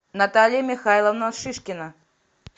наталья михайловна шишкина